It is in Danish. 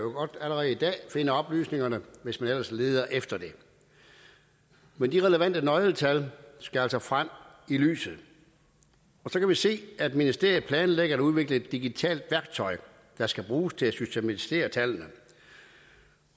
allerede i dag finde oplysningerne hvis man ellers leder efter dem men de relevante nøgletal skal altså frem i lyset så kan vi se at ministeriet planlægger at udvikle et digitalt værktøj der skal bruges til at systematisere tallene